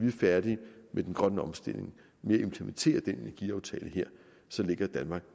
er færdige med den grønne omstilling med at implementere den energiaftale her så ligger danmark